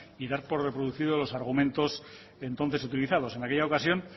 y dar por reproducido los argumentos entonces utilizados en aquella ocasión